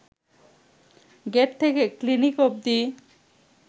gate থেকে clinic অব্দি